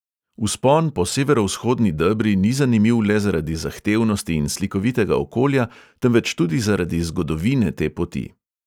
Vzpon po severovzhodni debri ni zanimiv le zaradi zahtevnosti in slikovitega okolja, temveč tudi zaradi zgodovine te poti.